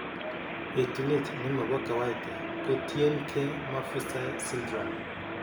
Etunet nemobo kawaida ko tien gee Maffucci syndrome